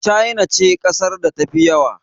China ce ƙasar da ta fi yawa